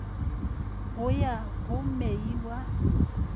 go ya go mei wa